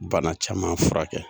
Bana caman furakɛ.